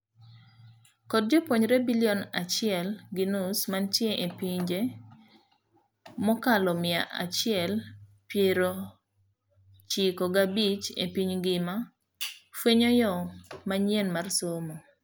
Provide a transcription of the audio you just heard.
Kod jopuonjre bilion achiel gi nus mantie epinje mokalo mia achiel piero chiko gabich epiny ngima fuenyo yoo manyien mar somo.